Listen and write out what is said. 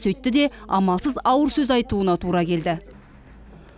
сөйтті де амалсыз ауыр сөз айтуына тура келді